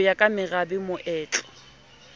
ho ya ka merabe moetlo